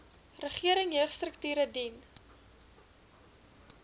regering jeugstrukture dien